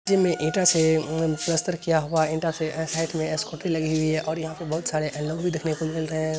जिनमे ईटा से पलास्टर किया हुआ है ईटा से साइड मे स्कूटी लगी हुई है। और यहां पर बोहोत सारा लोग भी मिल रहे है।